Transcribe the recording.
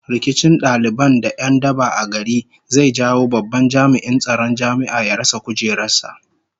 Rikicin daliban da 'yan daba a gari zai jawo babban jami'in tsaron jami'a ya rasa kujerar sa